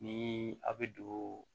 Ni a' bɛ don